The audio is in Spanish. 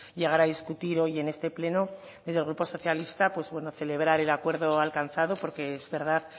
llegar a discutir hoy en este pleno desde el grupo socialista pues celebrar el acuerdo alcanzado porque es verdad